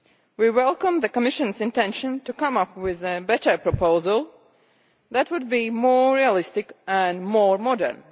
We welcome the Commissionʼs intention to come up with a better proposal that would be more realistic and more modern.